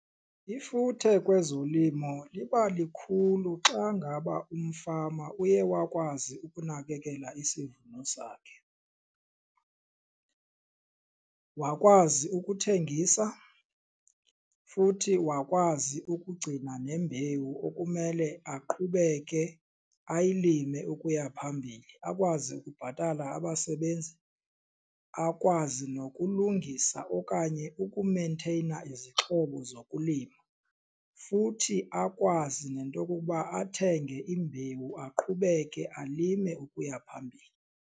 Ifuthe kwezolimo liba likhulu xa ngaba umfama uye wakwazi ukunakekela isivuno sakhe wakwazi ukuthengisa futhi wakwazi ukugcina nembewu okumele aqhubeke ayilime ukuya phambili. Akwazi ukubhatala abasebenzi akwazi nokulungisa okanye ukumeyintheyina izixhobo zokulima futhi akwazi nento yokuba athenge imbewu aqhubeke alime ukuya phambili.